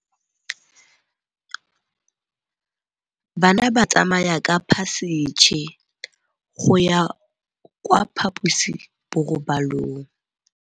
Bana ba tsamaya ka phašitshe go ya kwa phaposiborobalong.